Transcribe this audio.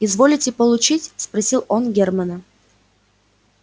изволите получить спросил он германна